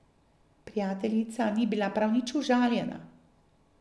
Prijateljica ni bila prav nič užaljena.